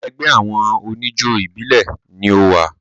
Ẹgbẹ́ àwọn oníjó ìbílẹ̀ ni o wà.